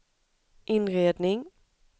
inredning